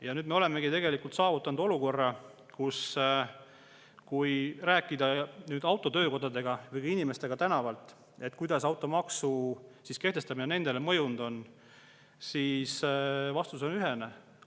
Ja nüüd me olemegi tegelikult saavutanud olukorra, et kui rääkida autotöökodadega või ka inimestega tänavalt,, kuidas automaksu kehtestamine nendele mõjunud on, siis vastus on ühene.